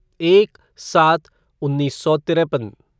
एक सात उन्नीस सौ तिरेपन